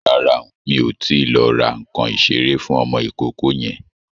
Rárá, mi ò tíì lọ ra nǹkan ìṣeré fún ọmọ ìkókó yẹn.